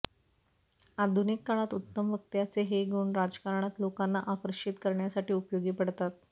आधुनिक काळात उत्तम वक्त्याचे हे गुण राजकारणात लोकांना आकर्षति करण्यासाठी उपयोगी पडतात